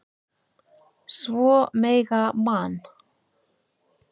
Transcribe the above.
Svo mega Man.